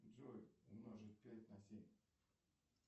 джой умножить пять на семь